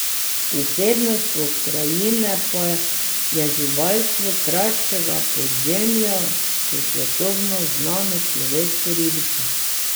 Posebnost pokrajine pa je živalstvo kraškega podzemlja s svetovno znano človeško ribico.